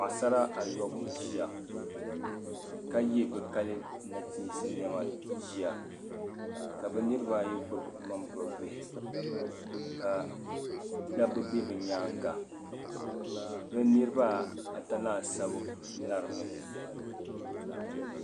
Paɣasara ayi ʒiya ka ye bi kali nachiinsi nɛma ʒiya ka bi niriba ayi gbubi ŋmani buhi bihi ka saaba be bi nyaanga bi niriba ata laasabu larimi